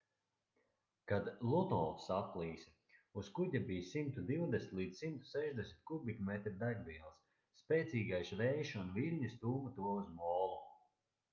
kad luno saplīsa uz kuģa bija 120-160 kubikmetri degvielas spēcīgais vējš un viļņi stūma to uz molu